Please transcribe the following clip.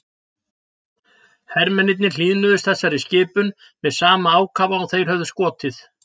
Hermennirnir hlýðnuðust þessari skipun með sama ákafa og þeir höfðu skotið.